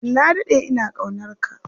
Na daɗe ina ƙaunarka.